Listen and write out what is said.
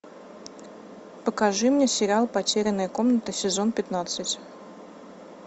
покажи мне сериал потерянная комната сезон пятнадцать